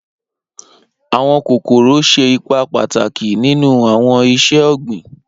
Awọn kokoro ṣe ipa pataki ninu awọn iṣẹ-ogbin.